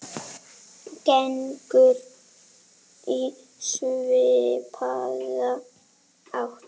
gengur í svipaða átt.